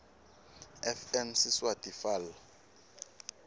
fn siswati fal